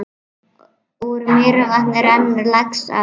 Úr Mývatni rennur Laxá.